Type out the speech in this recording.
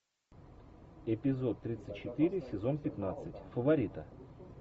эпизод тридцать четыре сезон пятнадцать фаворита